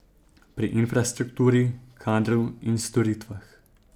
Pri infrastrukturi, kadru in storitvah.